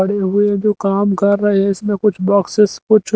पड़े हुए जो काम कर रहे हैं इसमें कुछ बॉक्सेस कुछ--